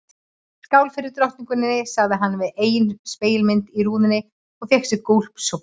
Skál fyrir drottningunni sagði hann við eigin spegilmynd í rúðunni og fékk sér gúlsopa.